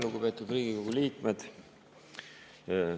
Lugupeetud Riigikogu liikmed!